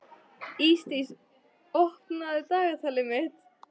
Ísdís, opnaðu dagatalið mitt.